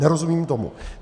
Nerozumím tomu.